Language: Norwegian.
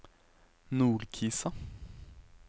Nordkisa